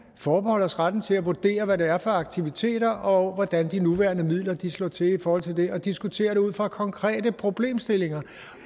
forbeholde os retten til at vurdere hvad det er for aktiviteter og hvordan de nuværende midler slår til i forhold til det og diskutere det ud fra konkrete problemstillinger